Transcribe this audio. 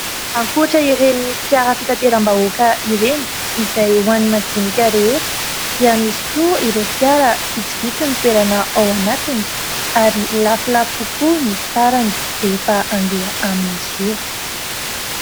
Ankoatran'ireny fiara fitateram-bahoaka ireny izay ho an'ny madinika rehetra, dia misy koa ny fiara izay vitsivitsy ny toerana ao anatiny ary lafolafo kokoa ny sarany rehefa handeha amin'izy io.